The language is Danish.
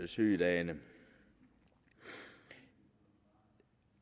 sygedage det